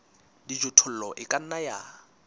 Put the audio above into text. dijothollo e ka nna ya